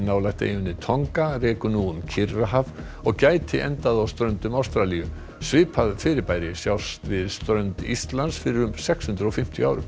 nálægt eyjunni Tonga rekur nú um Kyrrahaf og gæti endað á ströndum Ástralíu svipað fyrirbæri sást við strendur Íslands fyrir um sex hundruð og fimmtíu árum